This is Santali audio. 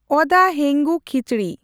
ᱚᱫᱟ ᱦᱮᱝᱜᱩ ᱠᱷᱤᱪᱲᱤ